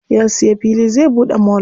Ya siya fili zai buɗe mall.